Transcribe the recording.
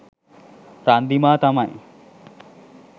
රන්දිමා තමයි.